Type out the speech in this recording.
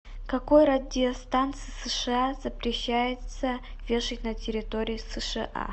какой радиостанции сша запрещается вешать на территории сша